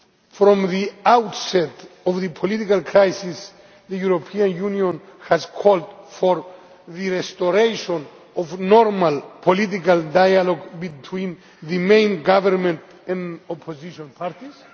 From the outset of the political crisis, the European Union has called for the restoration of normal political dialogue between the main government and opposition parties.